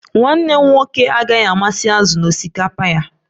Nwanne m nwoke agaghị amasị azụ n'osikapa ya